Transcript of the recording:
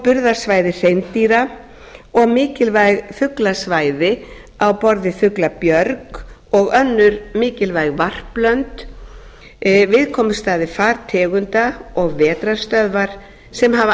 burðarsvæði hreindýra og mikilvæg fuglasvæði á borð við fuglabjörg og önnur mikilvæg varplönd viðkomustaði fartegunda og vetrarstöðvar sem hafa